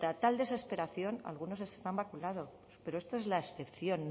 ante tal desesperación algunos están vacunados pero esta es la excepción